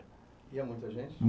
Ia muita gente?